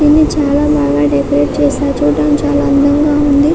ఇది చాలా బాగా డెకొరెట్ చేసారు. చుడానికి చాలా అందంగా ఉంది.